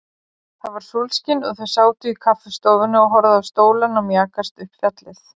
Það var sólskin og þau sátu í kaffistofunni og horfðu á stólana mjakast upp fjallið.